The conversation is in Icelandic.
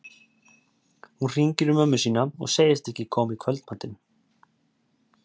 Hún hringir í mömmu sína og segist ekki koma í kvöldmatinn.